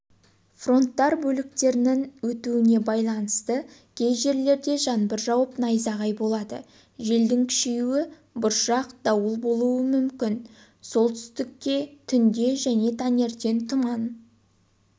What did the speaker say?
фронттар бөліктерінің өтуіне байланысты кей жерлерде жаңбыр жауып найзағай болады желдің күшеюі бұршақ дауыл болуы мүмкін солтүстікте түнде және таңертең тұман